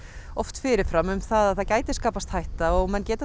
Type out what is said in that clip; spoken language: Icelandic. oft fyrir fram um það gæti skapast hætta og þá getur